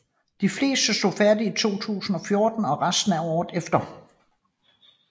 De fleste stod færdige i 2014 og resten året efter